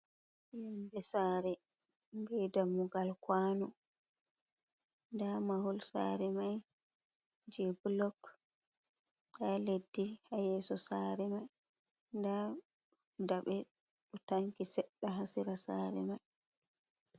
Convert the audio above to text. Sare be dammugal kwanu, nda mahol sare mai je blok on, Na leddi ha yeso sare mai nda daɓe ɗo tanki seɗɗa ha sera sare mai.